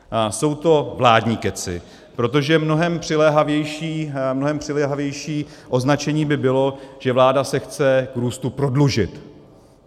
Jsou to vládní kecy, protože mnohem přiléhavější označení by bylo, že vláda se chce k růstu prodlužit.